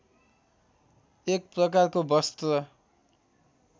एक प्रकारको वस्त्र